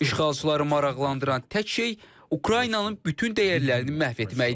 İşğalçıları maraqlandıran tək şey Ukraynanın bütün dəyərlərini məhv etməkdir.